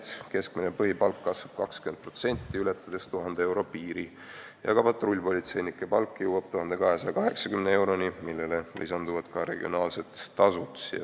Nende keskmine põhipalk kasvab 20%, ületades 1000 euro piiri, patrullpolitseinike palk aga jõuab 1280 euroni, millele lisanduvad regionaalsed tasud.